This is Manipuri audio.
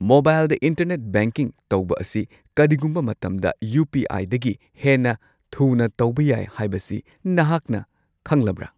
ꯃꯣꯕꯥꯏꯜꯗ ꯏꯟꯇꯔꯅꯦꯠ ꯕꯦꯡꯀꯤꯡ ꯇꯧꯕ ꯑꯁꯤ ꯀꯔꯤꯒꯨꯝꯕ ꯃꯇꯝꯗ ꯌꯨ. ꯄꯤ. ꯑꯥꯏ. ꯗꯒꯤ ꯍꯦꯟꯅ ꯊꯨꯅ ꯇꯧꯕ ꯌꯥꯏ ꯍꯥꯏꯕꯁꯤ ꯅꯍꯥꯛꯅ ꯈꯪꯂꯕ꯭ꯔꯥ?